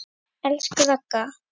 Elsku Ragga.